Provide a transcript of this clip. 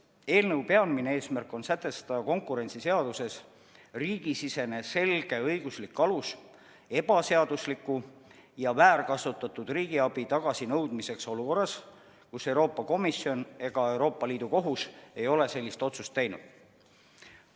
Eelnõu peamine eesmärk on sätestada konkurentsiseaduses riigisisene selge õiguslik alus ebaseadusliku ja väärkasutatud riigiabi tagasinõudmiseks olukorras, kus Euroopa Komisjon ega Euroopa Liidu Kohus ei ole sellist otsust teinud.